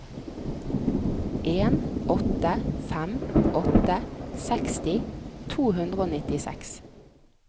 en åtte fem åtte seksti to hundre og nittiseks